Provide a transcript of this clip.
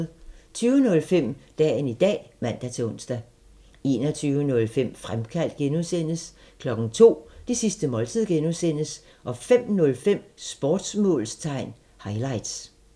20:05: Dagen i dag (man-ons) 21:05: Fremkaldt (G) 02:00: Det sidste måltid (G) 05:05: Sportsmålstegn highlights